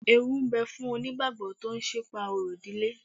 Ewú ń bẹ̀ fún onígbàgbọ́ tó sì ń pa orò ìdílé